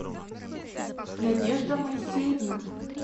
надежда моисеевна